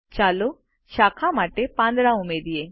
ચાલો શાખા માટે પાંદડા ઉમેરિયે